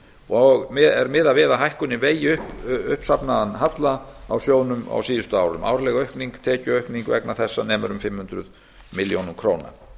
og er miðað við það að hækkunin vegi upp uppsafnaðan halla á sjóðnum á síðustu árum árleg tekjuaukning vegna þessa nemur um fimm hundruð milljónum króna